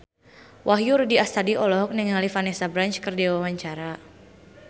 Wahyu Rudi Astadi olohok ningali Vanessa Branch keur diwawancara